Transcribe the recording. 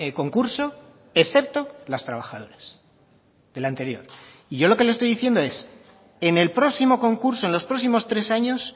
concurso excepto las trabajadoras del anterior y yo lo que le estoy diciendo es en el próximo concurso en los próximos tres años